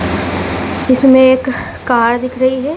इसमें एक कार दिख रही है।